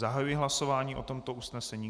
Zahajuji hlasování o tomto usnesení.